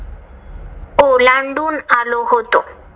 ओलांडून आलो होतो.